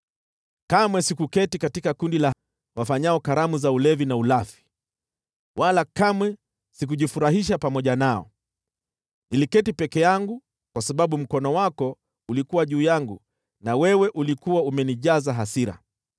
Kamwe sikuketi katika kundi la wafanyao sherehe, wala kamwe sikujifurahisha pamoja nao; niliketi peke yangu kwa sababu mkono wako ulikuwa juu yangu, na wewe ulikuwa umenijaza hasira.